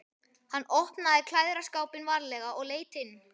Hann opnaði klæðaskápinn varlega og leit inn.